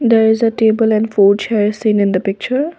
there is a table and four chairs in in the picture.